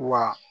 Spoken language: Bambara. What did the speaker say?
Wa